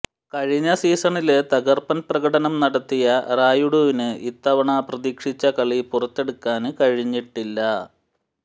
കഴിഞ്ഞ സീസണില് തകര്പ്പന് പ്രകടനം നടത്തിയ റായുഡുവിന് ഇത്തവണ പ്രതീക്ഷിച്ച കളി പുറത്തെടുക്കാന് കഴിഞ്ഞിട്ടില്ല